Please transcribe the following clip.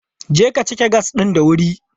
Je ka cike gas ɗin da wuri!